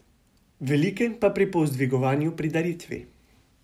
Velike pa pri povzdigovanju pri daritvi.